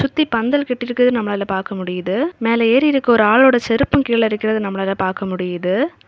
சுத்தி பந்தல் கட்டிருக்குறது நம்மலாள பாக்க முடியுது மேல ஏறி இருக்க ஒரு ஆளோட செருப்பு கீழ இருக்ரத நம்மளால பாக்க முடியுது.